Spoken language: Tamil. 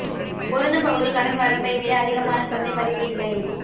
பொருந்தும் பகுதி கடன் வரம்பை விட அதிகமான சந்தை மதிப்பு இல்லை